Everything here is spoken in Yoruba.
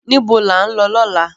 Nibó lá n lò lòlá?